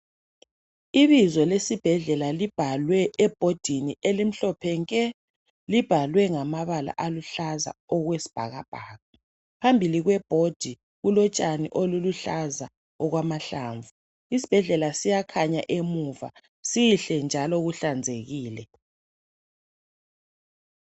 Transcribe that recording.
Ibizo lesibhedlela libhalwe ebhodini elimhlophe nke. Libhalwe ngamabala aluhlaza okwesibhakabhaka. Phambili kwebhodi kulotshani obuluhlaza okwamahlamvu. Isibhedlela siyakhanya emuva sihle njalo kuhlanzekile.